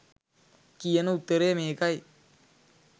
කියන උත්තරය මේකයි